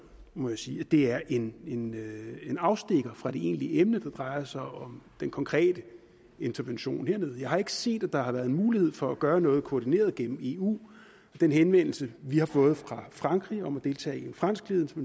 må jeg sige at det er en afstikker fra det egentlige emne der drejer sig om den konkrete intervention dernede jeg har ikke set at der har været mulighed for at gøre noget koordineret gennem eu og den henvendelse vi har fået fra frankrig om at deltage i en franskledet